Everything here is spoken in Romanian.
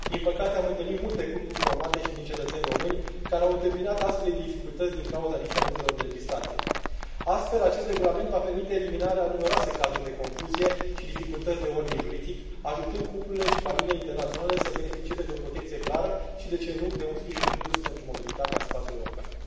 Din păcate am întâlnit multe cupluri formate și din cetățeni români, care au întâmpinat astfel de dificultăți din cauza diferențelor de legislație. Astfel, acest regulament va permite eliminarea a numeroase cazuri de confuzie și dificultăți de ordin juridic, ajutând cuplurile și familiile internaționale să beneficieze de o protecție clară și, de ce nu, de un sprijin în plus pentru mobilitatea în spațiul european.